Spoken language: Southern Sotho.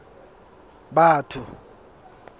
batho